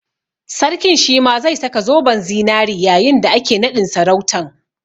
Sarkin shi ma zai saka zoben zinari yayin da ake naɗin sarautan